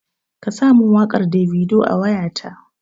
Ka sa min wakar Davido a wayata!